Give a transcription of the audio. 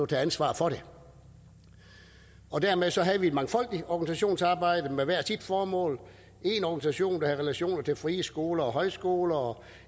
til ansvar for det og dermed havde vi et mangfoldigt organisationsarbejde med hvert sit formål en organisation der havde relationer til frie skoler og højskoler og